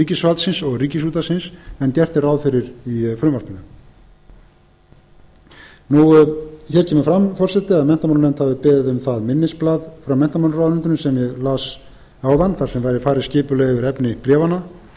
ríkisvaldsins og ríkisútvarpsins en gert er ráð fyrir í frumvarpinu hér kemur fram forseti að menntamálanefnd hafi beðið um það minnisblað frá menntamálaráðuneytinu sem ég las áðan þar sem væri farið skipulega yfir efni bréfanna